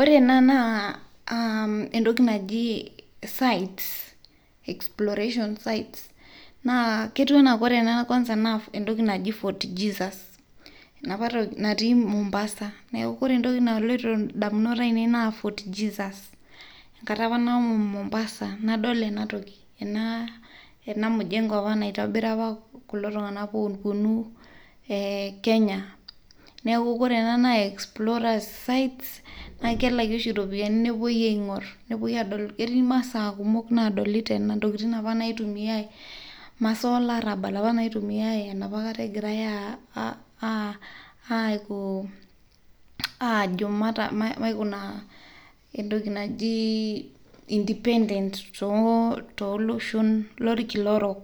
Ore ena naa entoki naji 'exploration sites'. Ketiu ena enaa Fort Jesus, natii Mombasa. Enkata apa nashomo Mombasa, nadol ena mujengo apa naitobira kulo tung'anak apa ooponu Kenya. Neeku ore ena naa explorer site, naa kelaki oshi iropiyiani nepuoi aing'orr, ketii imasaa kumok naadoli tene, inkotikin apa naaitumiai, masaa olarrabal apa naaitumiai egirai ajo king'oru independence tooloshon lorkila orok.